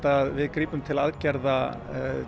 að við grípum til aðgerða